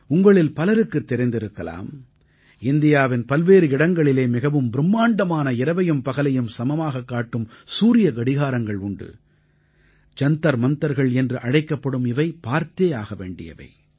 உங்களில் பலருக்குத் தெரிந்திருக்கலாம் இந்தியாவின் பல்வேறு இடங்களிலே மிகவும் பிரும்மாண்டமான இரவையும் பகலையும் சமமாகக் காட்டும் சூரியக் கடியாரங்கள் உண்டு ஜந்தர் மந்தர்கள் என்று அழைக்கப்படும் இவை பார்த்தேயாக வேண்டியவை